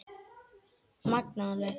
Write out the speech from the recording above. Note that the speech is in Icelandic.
Magnað alveg.